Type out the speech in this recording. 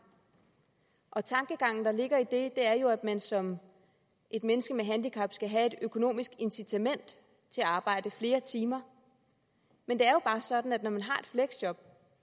og tankegangen der ligger i det er jo at man som et menneske med handicap skal have et økonomisk incitament til at arbejde flere timer men det er jo bare sådan at når man har et fleksjob